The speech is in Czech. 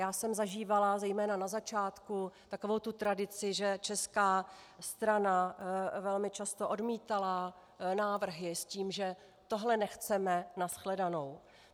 Já jsem zažívala zejména na začátku takovou tu tradici, že česká strana velmi často odmítala návrhy s tím, že tohle nechceme, na shledanou.